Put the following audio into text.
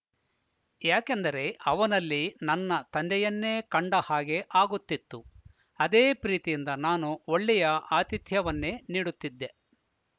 ಯಾಕೆಂದರೆ ಅವನಲ್ಲಿ ನನ್ನ ತಂದೆಯನ್ನೇ ಕಂಡ ಹಾಗೆ ಆಗುತ್ತಿತ್ತು ಅದೇ ಪ್ರೀತಿಯಿಂದ ನಾನು ಒಳ್ಳೆಯ ಆತಿಥ್ಯವನ್ನೇ ನೀಡುತ್ತಿದ್ದೆ